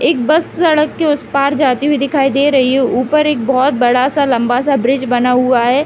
एक बस सड़क के उस पार जाती हुई दिखाई दे रही है ऊपर एक बोहोत बड़ा सा लम्बा सा ब्रिज बना हुआ है।